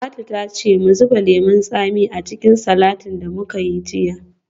Talatu ta ce mu zuba lemon tsami a cikin salatin da muka yi jiya.